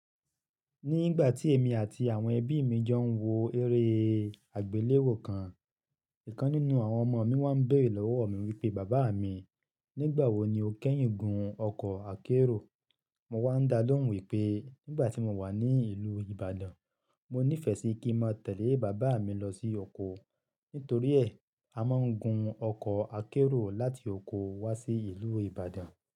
Ní ìgbà tí èmi àti àwọn ẹbí mi jọ ń wo eré àgbéléwò kan, ìkan nínú àwọn ọmọ mi wá ń béèrè lọ́wọ́ mi wípé: "bàbá mi, nígbà wo ni o kẹ́yìn gun ọkọ̀ akérò?" Mo wá ń dá lóhùn wípé nígbà tí mo wà ní ìlú Ibadan, mo nífẹ́ sí kí máa tẹ̀lẹ́ bàbá mi lọ sí oko. Nítorí ẹ̀, a máa ń gun ọkọ̀ akérò láti oko wá sí ìlú Ibadan.